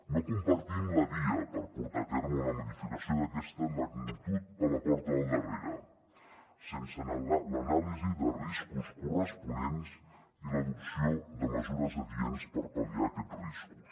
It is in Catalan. no compartim la via per portar a terme una modificació d’aquesta magnitud per la porta del darrere sense l’anàlisi de riscos corresponents i l’adopció de mesures adients per pal·liar aquests riscos